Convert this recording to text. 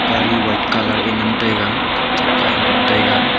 white colour aa ngan taiga ngan taiga.